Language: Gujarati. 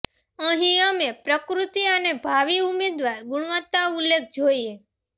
અહીં અમે પ્રકૃતિ અને ભાવિ ઉમેદવાર ગુણવત્તા ઉલ્લેખ જોઈએ